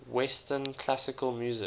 western classical music